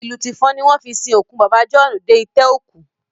Tìlù tìfọn ni wọ́n fi sin òkú bàbá jọ̀ọ́ọ́nù dé itẹ́ òkú